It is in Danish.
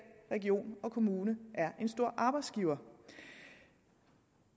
region og kommune er en stor arbejdsgiver